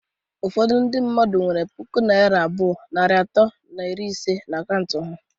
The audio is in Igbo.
Ụfọdụ ndị mmadụ nwere pụkụ naira abụọ, narị atọ na iri ise na akaụntụ ha